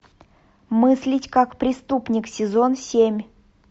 мыслить как преступник сезон семь